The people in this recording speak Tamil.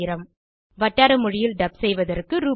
1000 வட்டார மொழியில் டப் செய்வதற்கு ரூ